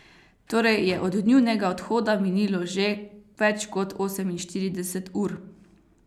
Torej je od njunega odhoda minilo že več kot oseminštirideset ur.